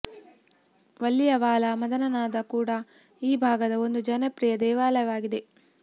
ವಲ್ಲಿಯಾವಲಾ ಮದನ ನಾದ ಕೂಡ ಈ ಭಾಗದ ಒಂದು ಜನಪ್ರಿಯ ದೇವಾಲಯವಾಗಿದೆ